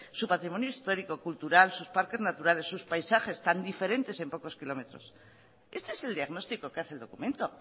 su patrimonio histórico cultural sus parques naturales sus paisajes tan diferentes en pocos kilómetros este es el diagnóstico que hace el documento